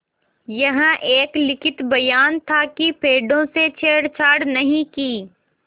यह एक लिखित बयान था कि पेड़ों से छेड़छाड़ नहीं की